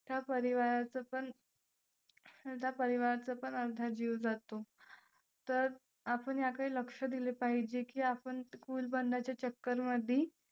त्या परिवाराचं पण आता परिवाराचं पण अर्धा जीव जातो. तर आपण याकडे लक्ष दिले पाहिजे की आपण cool बनण्याच्या चक्करमध्ये